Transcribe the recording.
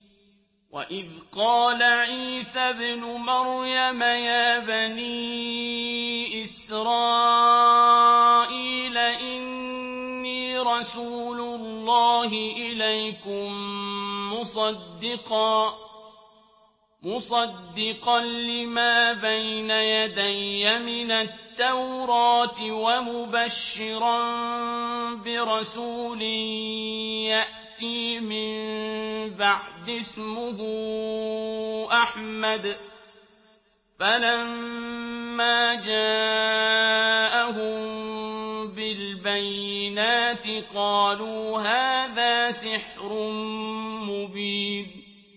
وَإِذْ قَالَ عِيسَى ابْنُ مَرْيَمَ يَا بَنِي إِسْرَائِيلَ إِنِّي رَسُولُ اللَّهِ إِلَيْكُم مُّصَدِّقًا لِّمَا بَيْنَ يَدَيَّ مِنَ التَّوْرَاةِ وَمُبَشِّرًا بِرَسُولٍ يَأْتِي مِن بَعْدِي اسْمُهُ أَحْمَدُ ۖ فَلَمَّا جَاءَهُم بِالْبَيِّنَاتِ قَالُوا هَٰذَا سِحْرٌ مُّبِينٌ